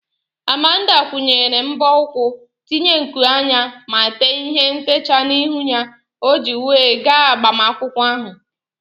Amanda kwụnyere mbọ ụkwụ, tinye nku anya ma tee ihe ntechaa n'ihu ya o ji wee gaa agbamakwụkwọ ahụ